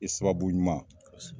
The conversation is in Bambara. I ye sababu ɲuman kosɛbɛ